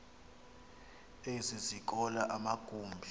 ezi zikolo amagumbi